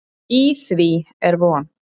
Í því er von.